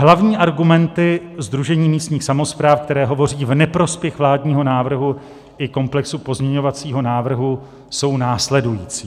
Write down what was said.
Hlavní argumenty Sdružení místních samospráv, které hovoří v neprospěch vládního návrhu i komplexního pozměňovacího návrhu, jsou následující: